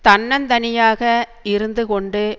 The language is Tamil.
தன்னந் தனியாக இருந்து கொண்டு